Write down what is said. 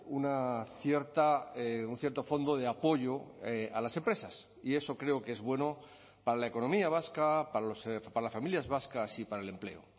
una cierta un cierto fondo de apoyo a las empresas y eso creo que es bueno para la economía vasca para las familias vascas y para el empleo